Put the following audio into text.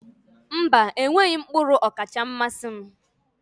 Mba, enweghị m mkpụrụ ọkacha mmasị m.